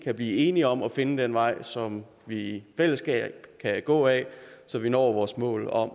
så blive enige om at finde den vej som vi i fællesskab kan gå ad så vi når vores mål om